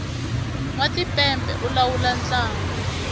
nwa timpepe u lawula ntlangu